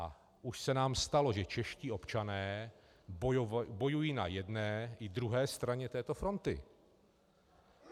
A už se nám stalo, že čeští občané bojují na jedné i druhé straně této fronty.